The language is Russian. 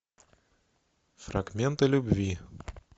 фрагменты любви